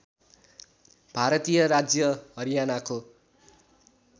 भारतीय राज्य हरियानाको